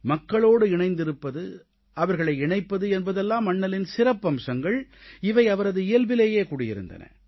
மக்களோடு இணைந்திருப்பது அவர்களை இணைப்பது என்பதெல்லாம் அண்ணலின் சிறப்பம்சங்கள் இவை அவரது இயல்பிலேயே குடியிருந்தன